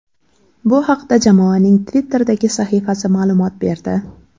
Bu haqda jamoaning Twitter’dagi sahifasi ma’lumot berdi.